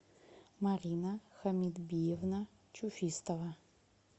марина хамитбиевна чуфистова